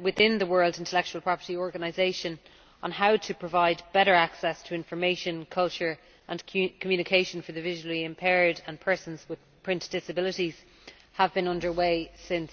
within the World Intellectual Property Organization on how to provide better access to information, culture and communication for the visually impaired and persons with print disabilities have been underway since